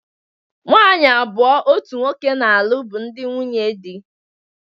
Nwaanyị abụọ otu nwoke na-alụ bụ ndị nwunye di.